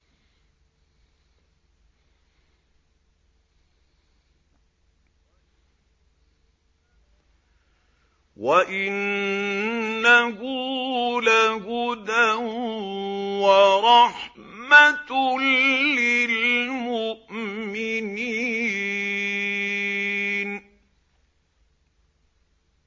وَإِنَّهُ لَهُدًى وَرَحْمَةٌ لِّلْمُؤْمِنِينَ